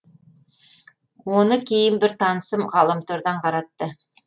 оны кейін бір танысым ғаламтордан қаратты